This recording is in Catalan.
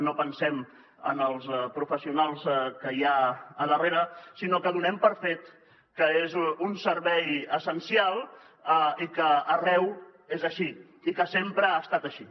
no pensem en els professionals que hi ha a darrere sinó que donem per fet que és un servei essencial i que arreu és així i que sempre ha estat així